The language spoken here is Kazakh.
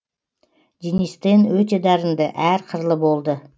денис тен өте дарынды әр қырлы болды